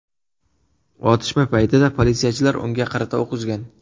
Otishma paytida politsiyachilar unga qarata o‘q uzgan.